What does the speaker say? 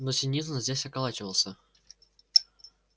но синицын здесь околачивался